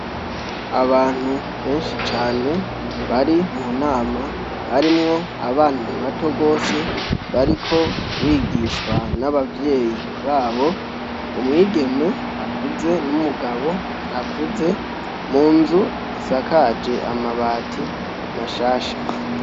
Abantu benshi cane bari mu nama harimwo abana bato rwose bariko bigishwa n'abavyeyi babo umwigeme akuze n'umugabo akuze mu nzu isakaje amabati mashasha.